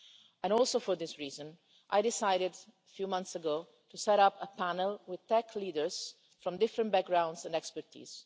and, partly for that reason, I decided a few months ago to set up a panel with tech leaders from different backgrounds and fields of expertise.